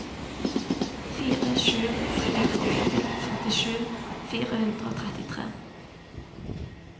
fire sju tre åtte femtisju fire hundre og trettitre